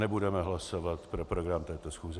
Nebudeme hlasovat pro program této schůze.